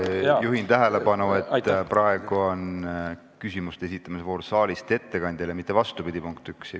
Ma juhin tähelepanu, et praegu on saalist ettekandjale küsimuste esitamise voor, mitte vastupidi, punkt 1.